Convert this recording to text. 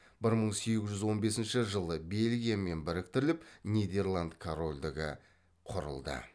бір мың сегіз жүз он бесінші жылы бельгиямен біріктіріліп нидерланд корольдігі құрылды